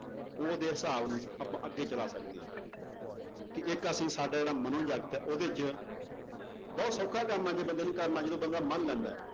ਉਹਦੇ ਹਿਸਾਬ ਆਪਾਂ ਅੱਗੇ ਚਲਾ ਸਕਦੇ ਹਾਂ ਕਿ ਇੱਕ ਅਸੀ ਸਾਡਾ ਜਿਹੜਾ ਹੈ ਉਹਦੇ 'ਚ ਬਹੁਤ ਸੌਖਾ ਕੰਮ ਹੈ ਜੇ ਬੰਦੇ ਨੇ ਕਰਨਾ ਜਦੋਂ ਬੰਦਾ ਮੰਨ ਲੈਂਦਾ ਹੈ,